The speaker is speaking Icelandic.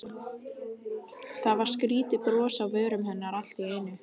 Það var skrýtið bros á vörum hennar allt í einu.